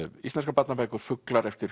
íslenskar barnabækur fuglar eftir